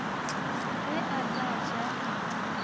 ge a ka ja re